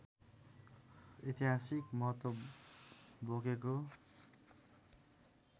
ऐतिहासिक महत्त्व बोकेको